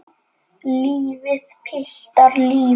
Lífið, piltar, lífið.